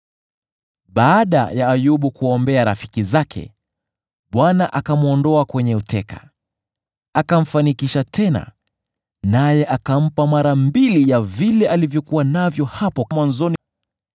Baada ya Ayubu kuwaombea rafiki zake, Bwana akamwondoa kwenye uteka, akamfanikisha tena naye akampa mara mbili ya vile alivyokuwa navyo hapo mwanzoni.